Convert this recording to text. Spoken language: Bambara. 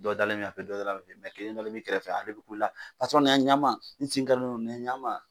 Dɔ dalen dɔ kelen dalen m'i kɛrɛfɛ ale bi kulela na ɲa n ma n sen karilen don na ɲa n ma.